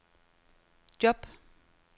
job